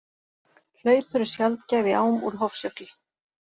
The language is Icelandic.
Hlaup eru sjaldgæf í ám úr Hofsjökli.